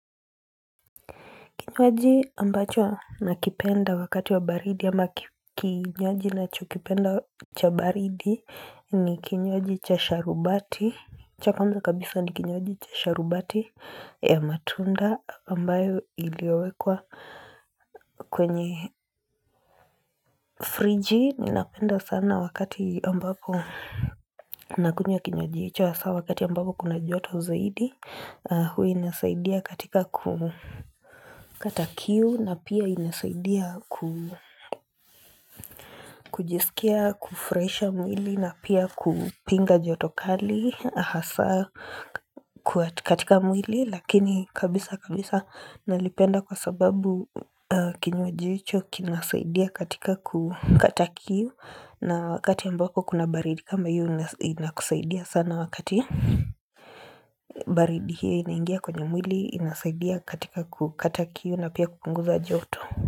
Kinywaji ambacho nakipenda wakati wa baridi ama kinywaji nacho kipenda cha baridi ni kinywaji cha sharubati cha kwanza kabisa ni kinywaji cha sharubati ya matunda ambayo iliwekwa kwenye friji ni napenda sana wakati ambapo Nakunywa kinywaji hicho hasa wakati ambapo kuna joto zaidi hua inasaidia katika kukata kiu na pia inasaidia kujisikia, kufraisha mwili na pia kupinga jotokali hasa katika mwili lakini kabisa kabisa nalipenda kwa sababu kinwa hicho kinasaidia katika kukata kiu na wakati ambako kuna baridi kama hiyo inasaidia sana wakati baridi hii inaingia kwenye mwili inasaidia katika kukata kiu na pia kukunguza joto.